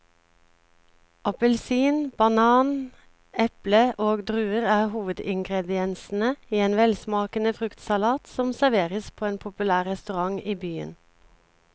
Appelsin, banan, eple og druer er hovedingredienser i en velsmakende fruktsalat som serveres på en populær restaurant i byen.